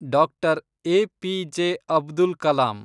Doctor. APJ. Abdul Kalam